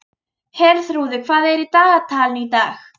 Herþrúður, hvað er í dagatalinu í dag?